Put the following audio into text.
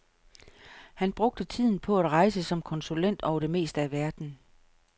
Han brugte tiden på at rejse som konsulent over det meste af verden.